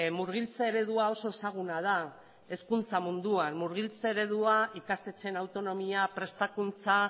murgiltze eredua oso ezaguna da hezkuntza munduan murgiltze eredua ikastetxeen autonomia prestakuntza